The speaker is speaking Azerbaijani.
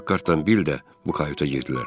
Pakhartdan Bill də bu kayuta girdilər.